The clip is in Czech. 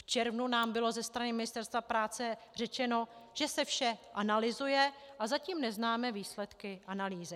V červnu nám bylo ze strany Ministerstva práce řečeno, že se vše analyzuje, a zatím neznáme výsledky analýzy.